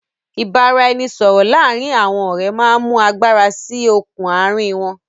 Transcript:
ìbáraẹnisọọ̀rọ̀ láàrín àwọn ọ̀rẹ́ máa ń mú agbára síí okùn àárín wọn.